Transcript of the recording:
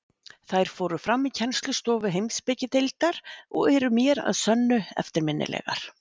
Þær fóru fram í kennslustofu Heimspekideildar og eru mér að sönnu eftirminnilegar.